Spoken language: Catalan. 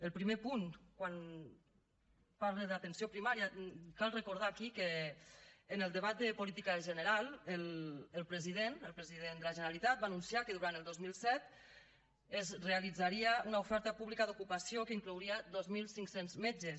al primer punt quan parla d’atenció primària cal recordar aquí que en el debat de política general el president el president de la generalitat va anunciar que durant el dos mil disset es realitzaria una oferta pública d’ocupació que inclouria dos mil cinc cents metges